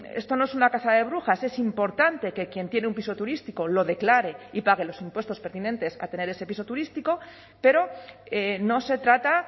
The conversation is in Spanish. esto no es una caza de brujas es importante que quien tiene un piso turístico lo declare y pague los impuestos pertinentes a tener ese piso turístico pero no se trata